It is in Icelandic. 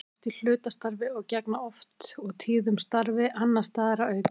Þeir eru oft í hlutastarfi og gegna oft og tíðum starfi annars staðar að auki.